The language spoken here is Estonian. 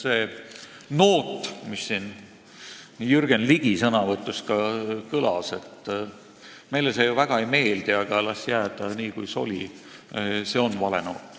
See noot, mis ka Jürgen Ligi sõnavõtus kõlas – meile see ju väga ei meeldi, aga las jääda nii, kuis oli –, on vale noot.